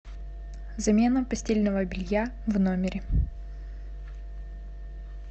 замена постельного белья в номере